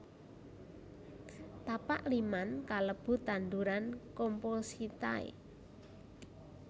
Tapak liman kalebu tanduran compositae